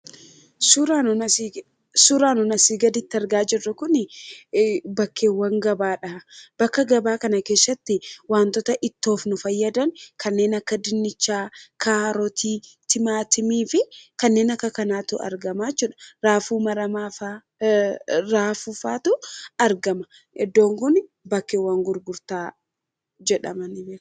Suuraan nuti asii gaditti argaa jirru kun bakkeewwan gabaadha. Bakka gabaa kana keessatti wantoota ittoof nu fayyadan kanneen akka dinnichaa, kaarotii, timaatimii fi kanneen akka kanaatu argama jechuudha. Raafuu maramaa fa'aatu raafuufatu argama. Iddoon kun bakkeewwan gurgurtaan beekama.